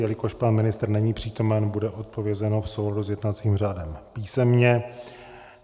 Jelikož pan ministr není přítomen, bude odpovězeno v souladu s jednacím řádem písemně.